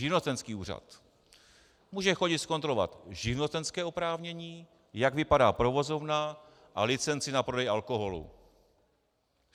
Živnostenský úřad - může chodit zkontrolovat živnostenské oprávnění, jak vypadá provozovna, a licenci na prodej alkoholu.